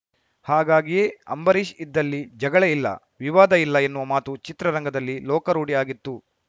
ಹಾಗಾಗಿಯೇ ಅಂಬರೀಷ್‌ ಇದ್ದಲ್ಲಿ ಜಗಳ ಇಲ್ಲ ವಿವಾದ ಇಲ್ಲ ಎನ್ನುವ ಮಾತು ಚಿತ್ರರಂಗದಲ್ಲಿ ಲೋಕಾರೂಢಿ ಆಗಿತ್ತು